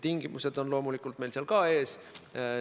Tingimused on meil loomulikult ka seal ees.